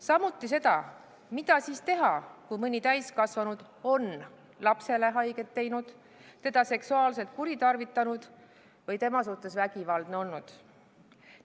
Samuti seda, mida teha siis, kui mõni täiskasvanu on lapsele haiget teinud, teda seksuaalselt kuritarvitanud või tema suhtes vägivaldne olnud?